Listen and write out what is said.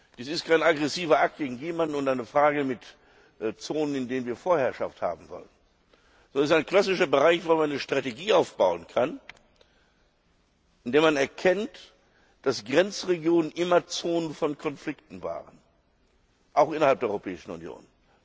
Dies ist kein aggressiver Akt gegen jemanden und eine Frage von Zonen, in denen wir Vorherrschaft haben wollen, sondern es ist ein klassischer Bereich, wo man eine Strategie aufbauen kann, indem man erkennt, dass Grenzregionen immer Zonen von Konflikten waren, auch innerhalb der Europäischen Union.